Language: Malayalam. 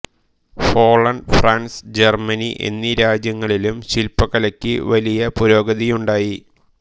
ഹോളണ്ട് ഫ്രാൻസ് ജർമനി എന്നീ രാജ്യങ്ങളിലും ശില്പകലയ്ക്ക് വലിയ പുരോഗതിയുണ്ടായി